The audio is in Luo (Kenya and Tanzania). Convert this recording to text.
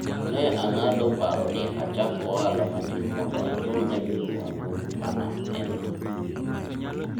ne ang'ado paro ni achak ohala matin mondo achul ne minwa gope mane en go